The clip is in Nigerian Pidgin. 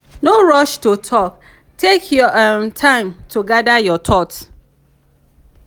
no rush to talk take your um time to gather your thoughts.